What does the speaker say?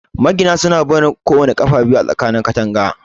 Magina suna barin 'ƙafa' biyu a kowana tsakanin katanga.